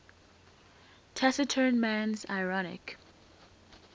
taciturn man's ironic